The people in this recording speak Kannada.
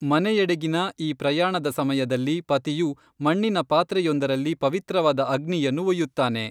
ಮನೆಯೆಡೆಗಿನ ಈ ಪ್ರಯಾಣದ ಸಮಯದಲ್ಲಿ ಪತಿಯು ಮಣ್ಣಿನ ಪಾತ್ರೆಯೊಂದರಲ್ಲಿ ಪವಿತ್ರವಾದ ಅಗ್ನಿಯನ್ನು ಒಯ್ಯುತ್ತಾನೆ.